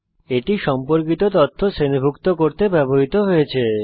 এটি সম্পর্কিত তথ্য শ্রেণীভুক্ত করতে ব্যবহৃত হয়েছে